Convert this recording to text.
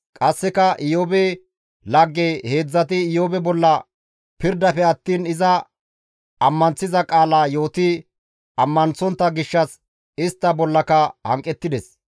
Qasseka Iyoobe lagge heedzdzati Iyoobe bolla pirdafe attiin iza ammanththiza qaala yooti ammanththontta gishshas istta bollaka hanqettides.